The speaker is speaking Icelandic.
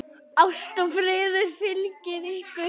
Ást og friður fylgi ykkur.